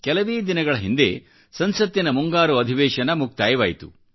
ಕೆಲವೇ ದಿನಗಳ ಹಿಂದೆ ಸಂಸತ್ತಿನ ಮುಂಗಾರು ಅಧಿವೇಶನ ಮುಕ್ತಾಯವಾಯಿತು